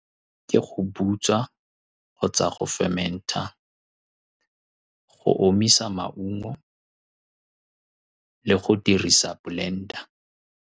Ke go butswa kgotsa go fermenter, go omisa maungo le go dirisa blender-a.